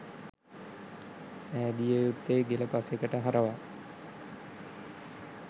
සෑදිය යුත්තේ ගෙල පසෙකට හරවා